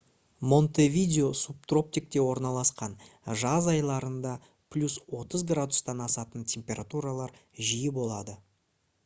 монтевидео субтропикте орналасқан; жаз айларында + 30 °c-тан асатын температуралар жиі болады